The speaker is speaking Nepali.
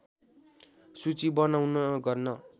सूची बनाउन गर्न